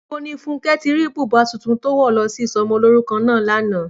Níbo ni Fúnkẹ́ ti rí bùbá tuntun tó wọ̀ lọ sí isọmọlúrúkọ náà lánàá?